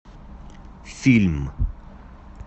фильм